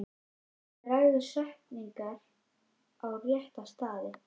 Dragðu setningar á rétta staði.